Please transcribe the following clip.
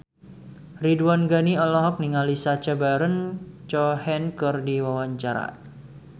Ridwan Ghani olohok ningali Sacha Baron Cohen keur diwawancara